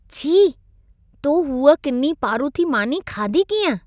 छी! तो हू किनी पारूथी मानी खाधी कीअं?